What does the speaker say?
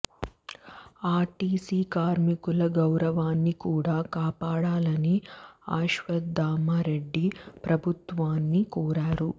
RTC కార్మికుల గౌరవాన్ని కూడ కాపాడాలని ఆశ్వత్థామరెడ్డి ప్రభుత్వాన్ని కోరారు